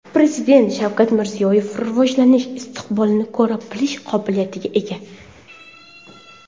Prezident Shavkat Mirziyoyev rivojlanish istiqbolini ko‘ra bilish qobiliyatiga ega.